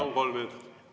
Palun, kolm minutit!